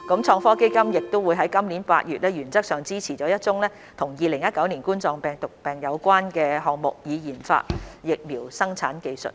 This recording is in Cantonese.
創科基金亦在今年8月原則上支持了一宗與2019冠狀病毒病有關的項目，以研發疫苗生產技術。